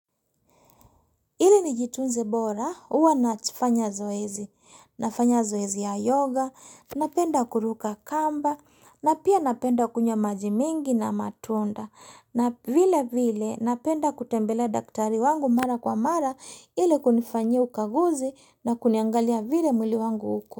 Ili nijitunze bora, huwa nafanya zoezi. Nafanya zoezi ya yoga, napenda kuruka kamba, na pia napenda kunywa maji mengi na matunda. Na vile vile napenda kutembelea daktari wangu mara kwa mara ili kunifanyia ukaguzi na kuniangalia vile mwili wangu uko.